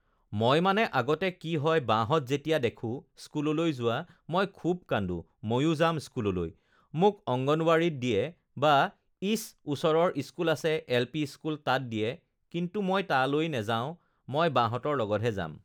মই মানে আগতে কি হয় বাহঁত যেতিয়া দেখোঁ স্কুললৈ যোৱা মই খুউব কান্দোঁ ময়ো যাম স্কুললৈ, মোক অঙ্গনবাড়ীত দিয়ে বা ইচ ওচৰৰ স্কুল আছে এল পি স্কুল তাত দিয়ে কিন্তু মই তালৈ নেযাওঁ মই বাহঁতৰ লগতহে যাম